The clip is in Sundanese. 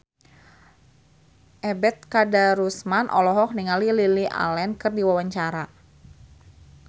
Ebet Kadarusman olohok ningali Lily Allen keur diwawancara